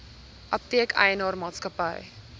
apteek eienaar maatskappy